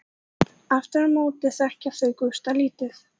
Aftur á móti þekkja þau Gústa lítið.